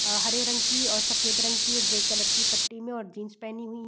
अ हरे रंग की सफ़ेद रंग की ग्रे कलर की पट्टी में और जीन्स पहनी हुई --